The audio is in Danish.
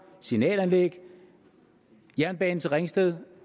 signalanlæg jernbane til ringsted